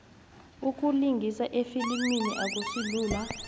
ukulingisa efilimini akusilula